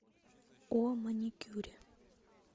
о маникюре